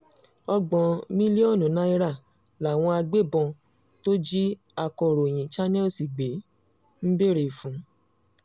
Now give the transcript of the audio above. ọgbọ̀n mílíọ̀nù náírà làwọn agbébọn tó jí akọ̀ròyìn channels gbé ń béèrè fún